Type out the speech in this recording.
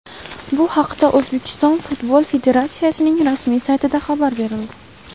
Bu haqda O‘zbekiston Futbol Federatsiyasining rasmiy saytida xabar berildi .